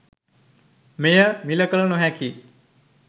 මෙය මිල කළ නොහැකි